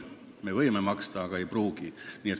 Me võime maksta, aga ei pruugi.